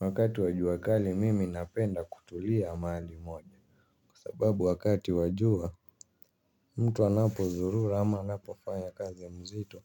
Wakati wa jua kali mimi napenda kutulia mahali moja. Kwa sababu wakati wa jua mtu anapo zurura ama anapo faya kazi ya mzito